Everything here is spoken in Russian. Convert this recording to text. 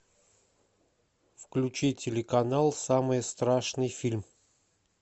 включи телеканал самый страшный фильм